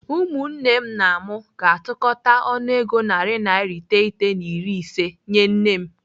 Ụmụnne m na mụ ga-atụkọta ọnụego narị naira iteghete na iri ise nyee nne m.